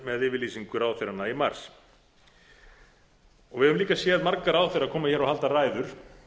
með yfirlýsingu ráðherranna í mars við höfum líka séð marga ráðherra koma hér og halda ræður